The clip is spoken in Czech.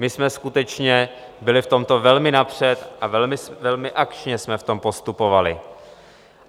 My jsme skutečně byli v tomto velmi napřed a velmi akčně jsme v tom postupovali.